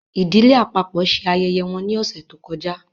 Ìdílé àpapọ ṣe ayẹyẹ wọn ni ọsẹ to kọjá